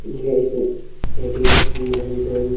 यह एक ए.टी.एम. हैं जन --